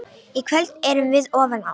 Í kvöld erum við ofan á.